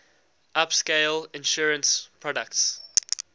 upscale insurance products